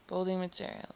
building materials